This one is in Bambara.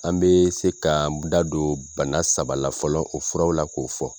An bɛ se ka an da don bana saba la fɔlɔ, o furaw la k'o fɔ.